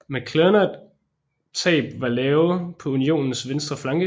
McClernand tab var lave på Unionens venstre flanke